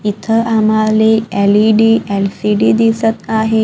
इथं आम्हाले L E D L C D दिसत आहे.